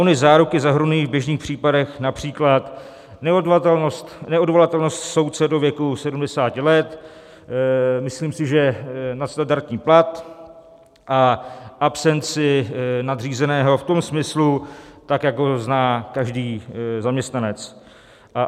Ony záruky zahrnují v běžných případech například neodvolatelnost soudce do věku 70 let, myslím si, že nadstandardní plat a absenci nadřízeného v tom smyslu, tak jak ho zná každý zaměstnanec.